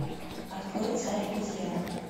открой царь обезьян